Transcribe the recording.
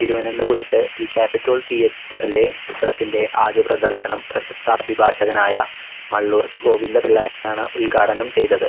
തിരുവനന്തപുരത്ത് v capitol theatre ലെ ചിത്രത്തിൻറെ ആദ്യ പ്രദർശനം പ്രശസ്ത അഭിഭാഷകനായ മള്ളൂർ ഗോവിന്ദ പിള്ളയാണ് ഉൽഘാടനം ചെയ്തത്